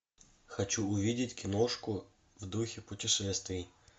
хочу увидеть киношку в духе путешествий